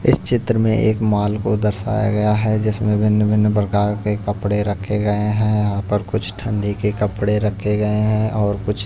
इस चित्र में एक मॉल को दर्शाया गया है जिसमें भिन्न-भिन्न प्रकार के कपड़े रखे गए हैं यहां पर कुछ ठंडी के कपड़े रखे गए हैं और कुछ--